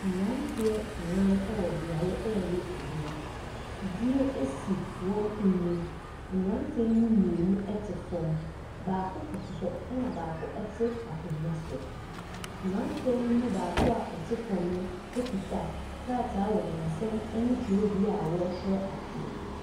Ɛmmranteɛ ɛnan ɛwɔ biaɛ ɛɛyɛ adwuma. Fridie esi wɔn anim. Mmranteɛ yi emu mienu ɛte fɔm. Baako kutu hɔ ɛna baako ɛti akonnwa soɔ. Abrateɛ yi mu baako ɔte fɛm ekura krataa wɔ ne nsam ɛne twerɛdua a ɔtwerɛ adeɛ.